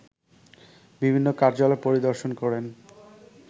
বিভিন্ন কার্যালয় পরিদর্শন করেন